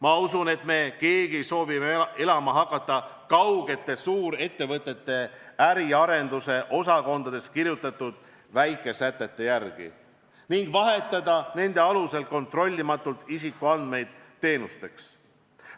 Ma usun, et me keegi ei soovi hakata elama kaugete suurettevõtete äriarenduse osakondades kirjutatud vaikesätete järgi ning vahetada nende alusel kontrollimatult isikuandmeid teenusteks.